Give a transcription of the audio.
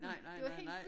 Nej nej nej nej